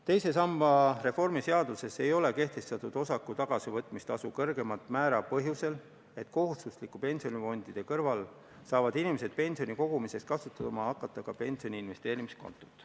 Teise samba reformi seaduses ei ole kehtestatud osaku tagasivõtmise tasu kõrgemat määra põhjusel, et kohustuslike pensionifondide kõrval saavad inimesed pensioni kogumiseks kasutama hakata ka pensioni investeerimiskontot.